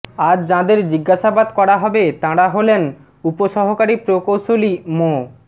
আজ যাঁদের জিজ্ঞাসাবাদ করা হবে তাঁরা হলেন উপসহকারী প্রকৌশলী মো